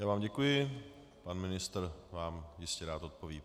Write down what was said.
Já vám děkuji, pan ministr vám jistě rád odpoví.